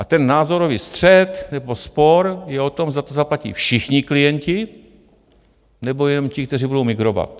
A ten názorový střet nebo spor je o tom, zda to zaplatí všichni klienti, nebo jenom ti, kteří budou migrovat.